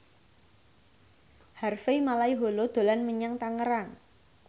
Harvey Malaiholo dolan menyang Tangerang